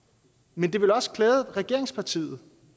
men det ville også klæde regeringspartiet